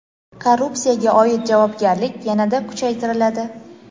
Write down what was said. Korrupsiyaga oid javobgarlik yanada kuchaytiriladi.